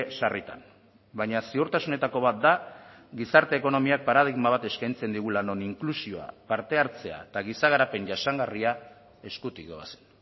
sarritan baina ziurtasunetako bat da gizarte ekonomiak paradigma bat eskaintzen digula non inklusioa parte hartzea eta giza garapen jasangarria eskutik doazen